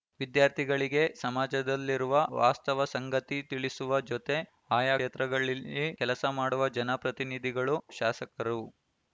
ವಿದ್ಯಾರ್ಥಿಗಳಿಗೆ ಸಮಾಜದಲ್ಲಿರುವ ವಾಸ್ತವ ಸಂಗತಿ ತಿಳಿಸುವ ಜೊತೆ ಆಯಾ ಕ್ಷೇತ್ರಗಳಲ್ಲಿ ಕೆಲಸ ಮಾಡುವ ಜನ ಪ್ರತಿನಿಧಿಗಳು ಶಾಸಕರು